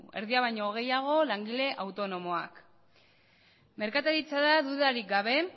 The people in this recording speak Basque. erdia baino gehiago langile autonomoak merkataritza da dudarik gabe